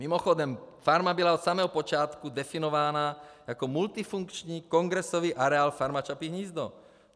Mimochodem farma byla od samého počátku definována jako multifunkční kongresový areál Farma Čapí hnízdo.